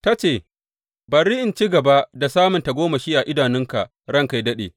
Ta ce, Bari in ci gaba da samun tagomashi a idanunka ranka yă daɗe.